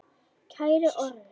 Kæri Orri.